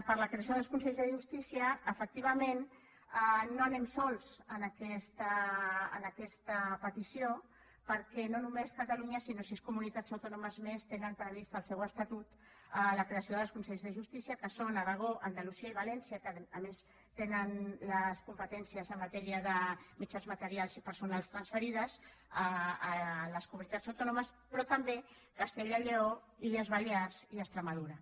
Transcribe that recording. per a la creació dels consells de justícia efectivament no anem sols en aquesta petició perquè no només catalunya sinó sis comunitats autònomes més tenen previst en el seu estatut la creació dels consells de justícia que són aragó andalusia i valència que a més tenen les competències en matèria de mitjans materials i personals transferides a les comunitats autònomes però també castella lleó illes balears i extremadura